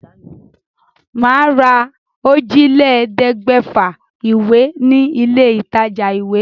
Màá lọ ra òjìlélẹ̀ẹ́dẹ́gbẹ̀fà ìwé ní ilé ìtajà-ìwé.